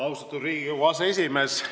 Austatud Riigikogu aseesimees!